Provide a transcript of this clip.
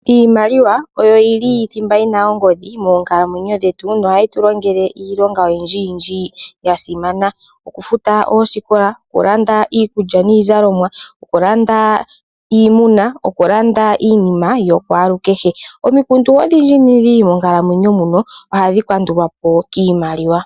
Iimaliwa oyo yi li thimba yina ongodhi moonkalamweyo dhetu nohayi tu longele iilonga oyindji yindji ya simana. Okufuta oosikola, okulanda iikulya niizalomwa, okulanda iimuna, okulanda iinima yokulwalukehe. Omikundu odhindji dhindji monkalamweyo muno ohadhi kandulwapo kiimaliwa.